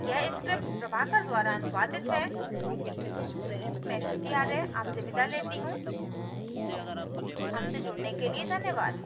यह script प्रभाकर द्वारा अनुवादित है मैं श्रुति आर्य आपसे विदा लेती हूँ हमसे जुड़ने के लिए धन्यवाद